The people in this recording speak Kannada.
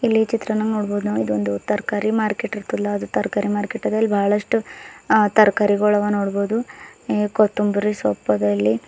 ಇಲ್ಲಿ ಚಿತ್ರವನ್ನು ನೋಡಬಹುದು ನಾವು ಇದು ಒಂದು ತರಕಾರಿ ಮಾರ್ಕೆಟ್ ಇರುತ್ತಲ್ಲ ಅದು ತರಕಾರಿ ಮಾರ್ಕೆಟ್ ಅದ ಇಲ್ಲಿ ಬಹಳಷ್ಟು ತರಕಾರಿಗೋಳವ ನೋಡಬಹುದು ಕೊತ್ತಂಬರಿ ಸೊಪ್ಪು ಆದ ಇಲ್ಲಿ.